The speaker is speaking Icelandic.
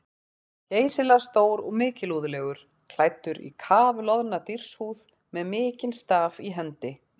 Hann var geysilega stór og mikilúðlegur, klæddur í kafloðna dýrshúð með mikinn staf í hendi.